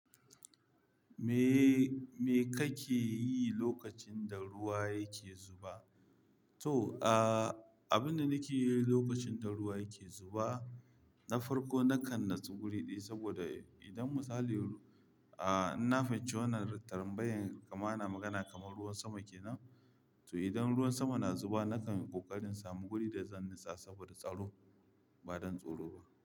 Me, me kake yi lokacin da ruwa yake zuba? To, ah, abin da nake yi lokacin da ruwa yake zuba, na farko nakan nutse wuri ɗaya saboda idan misali, ah, na fahimci wannan tarambayen kamar na magana kamar ruwan sama ke nan. To idan ruwan sama na zuba nakan ƙoƙarin samu wuri da zan nisa saboda tsaro ba don tsoro ba.